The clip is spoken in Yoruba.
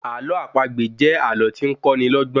Àlọ́ àpagbè jẹ́ àlọ́ tí ń kọ́ ni lọ́gbọ́n